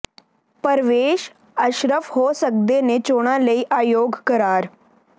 ਪਰਵੇਸ਼ ਅਸ਼ਰਫ਼ ਹੋ ਸਕਦੇ ਨੇ ਚੋਣਾਂ ਲਈ ਅਯੋਗ ਕਰਾਰ